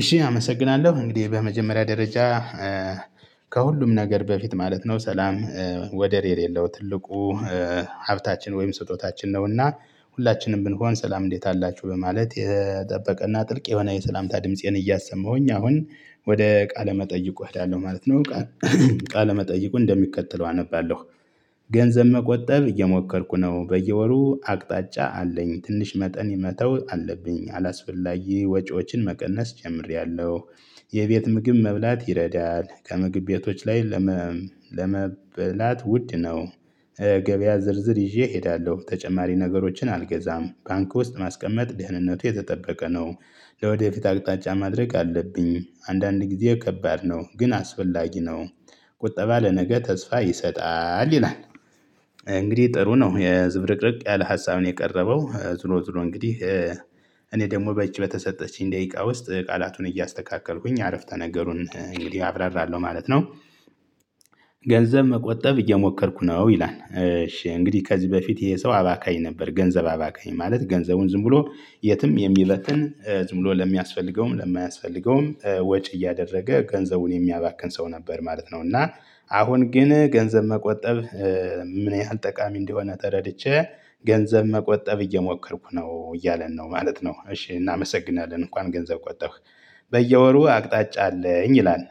እሺ አመሰግናለሁ እንግዲህ በመጀመሪያ ደረጃ ከሁሉም ነገር በፊት ማለት ነው ሰላም ወደር የሌለው ትልቁ ሀብታችን ወይም ስጦታችን ነውና። ሁላችንም ብንሆን ሰላም እንዴት አላችሁ በማለት የጠበቀና ጥልቅ የሆነ የሰላምታ ድምፄን እያሰማሁኝ አሁን ወደ ቃለ መጠይቁ እሄዳለሁ ማለት ነው። ቃለ መጠይቁ እንደሚከተለው አነባለሁ። ገንዘብ መቆጠብ እየሞከርኩ ነው በየወሩ አቅጣጫ አለኝ ትንሽ መጠን መተው አለብኝ አላስፈላጊ ወጪዎችን መቀነስ ጀምሬያለሁ። የቤት ምግብ መብላት ይረዳል ከምግብ ቤቶች ላይ ለመብላት ውድ ነው። ገበያ ዝርዝር ይዤ እሄዳለሁ ተጨማሪ ነገሮችን አልገዛም ባንክ ውስጥ ማስቀመጥ ደህንነቱ የተጠበቀ ነው። ለወደፊት አቅጣጫ ማድረግ አለብኝ አንዳንድ ጊዜ ከባድ ነው ግን አስፈላጊ ነው። ቁጠባ ለነገ ተስፋ ይሰጣል ይላል። እንግዲህ ጥሩ ነው የዝብርቅርቅ ያለ ሀሳብ ነው የቀረበው ዝሮ ዝሮ እንግዲህ እኔ ደግሞ በቺ በተሰጠችኝ ደቂቃ ውስጥ ቃላቱን እያስተካከልኩኝ አረፍተ ነገሩን እንግዲህ አብራራለሁ ማለት ነው። ገንዘብ መቆጠብ እየሞከርኩ ነው። ይላል እሺ እንግዲህ ከዚህ በፊት ይሄ ሰው አባካኝ ነበር። ገንዘብ አባካኝ ማለት ገንዘቡን ዝም ብሎ የትም የሚበትን ዝም ብሎ ለሚያስፈልገውም ለማያስፈልገውም ወጪ እያደረገ ገንዘቡን የሚያባክን ሰው ነበር ማለት ነው። እና አሁን ግን ገንዘብ መቆጠብ ምን ያህል ጠቃሚ እንደሆነ ተረድቼ ገንዘብ መቆጠብ እየሞከርኩ ነው እያለን ነው ማለት ነው። እሺ እናመሰግናለን እንኳን ገንዘብ ቆጠብክ በየወሩ አቅጣጫ አለኝ ይላል።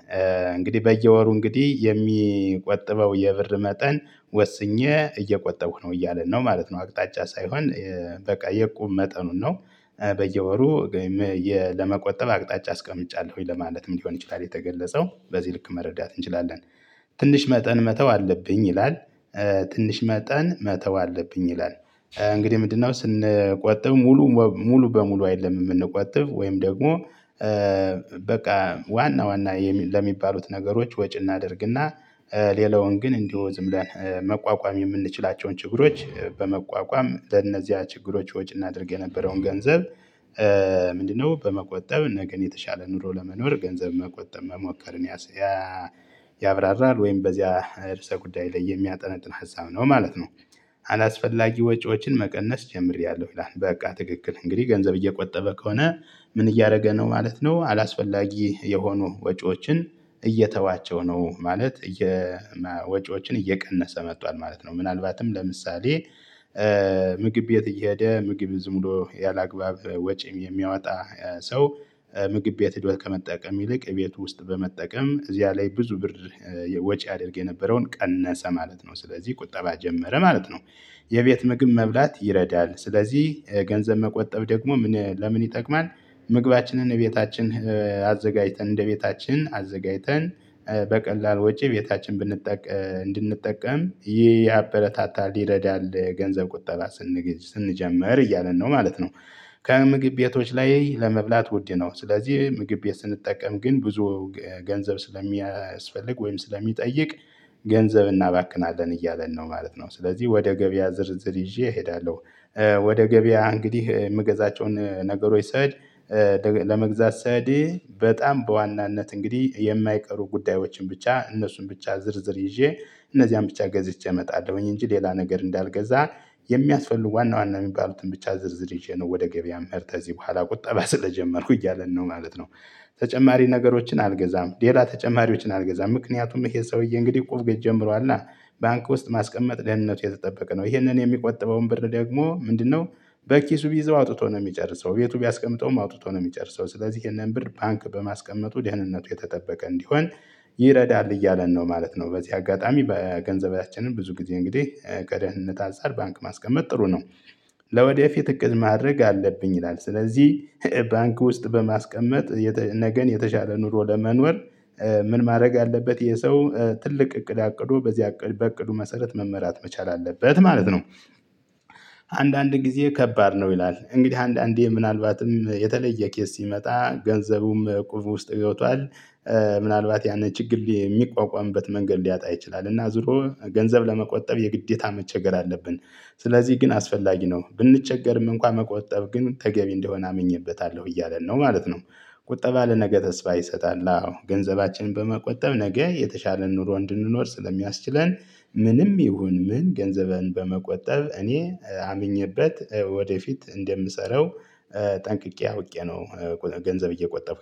እንግዲህ በየወሩ እንግዲህ የሚቆጥበው የብር መጠን ወስኜ እየቆጠብኩ ነው እያለን ነው ማለት ነው። አቅጣጫ ሳይሆን በቃ የቁም መጠኑን ነው በየወሩ ወይም ለመቆጠብ አቅጣጫ አስቀምጫለሁኝ ለማለትም ሊሆን ይችላል የተገለጸው በዚህ ልክ መረዳት እንችላለን። ትንሽ መጠን መተው አለብኝ ይላል። ትንሽ መጠን መተው አለብኝ ይላል እንግዲህ ምንድነው? ስንቆጠብ ሙሉ ሙሉ በሙሉ አይደለም የምንቆጥብ ወይም ደግሞ በቃ ዋና ዋና ለሚባሉት ነገሮች ወጪ እናደርግና። ሌላውን ግን እንዲሁ ዝም ብለን መቋቋም የምንችላቸውን ችግሮች በመቋቋም ለእነዚያ ችግሮች ወጪ እናድርግ የነበረውን ገንዘብ። ምንድነው? በመቆጠብ ነገን የተሻለ ኑሮ ለመኖር ገንዘብ መቆጠብ መሞከርን ያብራራል ወይም በዚያ እርሰ ጉዳይ ላይ የሚያጠነጥን ሃስብ ነው ማለት ነው። አላስፈላጊ ወጪዎችን መቀነስ ጀምሬያለሁ ይላል። በቃ ትክክል እንግዲህ ገንዘብ እየቆጠበ ከሆነ ምን እያደረገ ነው ማለት ነው። አላስፈላጊ የሆኑ ወጪዎችን እየተዋቸው ነው ማለት ወጪዎችን እየቀነሰ መጥቷል ማለት ነው። ምናልባትም ለምሳሌ። ምግብ ቤት እየሄደ ምግብ ዝም ብሎ ያለአግባብ ወጪ የሚያወጣ ሰው። ምግብ ቤት ሄዶ ከመጠቀም ይልቅ ቤት ውስጥ በመጠቀም እዚያ ላይ ብዙ ብር ወጪ ያደርግ የነበረውን ቀነሰ ማለት ነው። ስለዚህ ቁጠባ ጀመረ ማለት ነው። የቤት ምግብ መብላት ይረዳል ስለዚህ ገንዘብ መቆጠብ ደግሞ ምን ለምን ይጠቅማል? ምግባችንን እቤታችን አዘጋጅተን እንደቤታችን አዘጋጅተን በቀላል ወጪ ቤታችን ብንጠቅ እንድንጠቀም ይህ ያበረታታል ይረዳል ገንዘብ ቁጠባ ስንጀምር እያለን ነው ማለት ነው። ከምግብ ቤቶች ላይ ለመብላት ውድ ነው። ስለዚህ ምግብ ቤት ስንጠቀም ግን ብዙ ገንዘብ ስለሚያስፈልግ ወይም ስለሚጠይቅ ገንዘብ እናባክናለን እያለን ነው ማለት ነው። ስለዚህ ወደ ገበያ ዝርዝር ይዤ እሄዳለሁ። ወደ ገበያ እንግዲህ የምገዛቸውን ነገሮች ስሄድ ለመግዛት ስሄድ በጣም በዋናነት እንግዲህ የማይቀሩ ጉዳዮችን ብቻ እነሱን ብቻ ዝርዝር ይዤ እነዚያን ብቻ ገዝቼ እመጣለሁኝ እንጂ ሌላ ነገር እንዳልገዛ። የሚያስፈልጉ ዋና ዋና የሚባሉትን ብቻ ዝርዝር ይዤ ነው ወደ ገበያ የምሄድ ከዚህ በኋላ ቁጠባ ስለጀመርኩ እያለን ነው ማለት ነው። ተጨማሪ ነገሮችን አልገዛም ሌላ ተጨማሪዎችን አልገዛም ምክንያቱም ይሄ ሰውዬ እንግዲህ እቁብ ቤት ጀምሯልና። ባንክ ውስጥ ማስቀመጥ ደህንነቱ የተጠበቀ ነው ይሄንን የሚቆጥበውን ብር ደግሞ ምንድነው? በኪሱ ቢይዘው አውጥቶ ነው የሚጨርሰው ቤቱ ቢያስቀምጠውም አውጥቶ ነው የሚጨርሰው ስለዚህ ይህንን ብር ባንክ በማስቀመጡ ደህንነቱ የተጠበቀ እንዲሆን ይረዳል እያለን ነው ማለት ነው። በዚህ አጋጣሚ በገንዘቤያችን ብዙ ጊዜ እንግዲህ ከደህንነት አንጽር ባንክ ማስቀመጥ ጥሩ ነው። ለወደፊት እቅድ ማድረግ አለብኝ ይላል ስለዚህ ባንክ ውስጥ በማስቀመጥ ነገን የተሻለ ኑሮ ለመኖር። ምን ማድረግ አለበት ይሄ ሰው ትልቅ እቅድ አቅዶ በዚያ በእቅዱ መሰረት መመራት መቻል አለበት ማለት ነው። አንዳንድ ጊዜ ከባድ ነው ይላል እንግዲህ አንዳንዴ ምናልባትም የተለየ ኬዝ ሲመጣ ገንዘቡም ቆፎ ውስጥ ገብቷል። ምናልባት ያንን ችግር የሚቋቋምበት መንገድ ሊያጣ ይችላል እና ዙሮ ገንዘብ ለመቆጠብ የግዴታ መቸገር አለብን። ስለዚህ ግን አስፈላጊ ነው ብንቸገርም እንኳን መቆጠብ ግን ተገቢ እንደሆነ አምኜበታለሁ እያለን ነው ማለት ነው። ቁጠባ ለነገ ተስፋ ይሰጣል አዎ ገንዘባችን በመቆጠብ ነገ የተሻለ ኑሮ እንድንኖር ስለሚያስችለን ምንም ይሁን ምን ገንዘብን በመቆጠብ እኔ አምኜበት ወደፊት እንደምሰራው ጠንቅቄ አውቄ ነው። ገንዘብ እየቆጠብኩ